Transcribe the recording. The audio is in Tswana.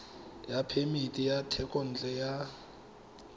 ya phemiti ya thekontle ya